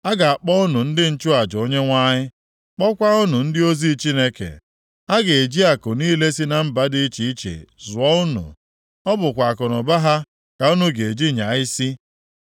A ga-akpọ unu ndị nchụaja Onyenwe anyị, kpọkwa unu ndị ozi Chineke anyị. A ga-eji akụ niile si na mba dị iche iche zụọ unu. Ọ bụkwa akụnụba ha ka unu ga-eji nyaa isi.